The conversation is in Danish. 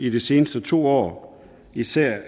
i de seneste to år især